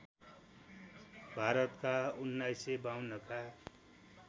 भारतका १९५२ का